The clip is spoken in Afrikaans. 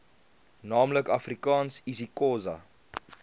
naamlik afrikaans isixhosa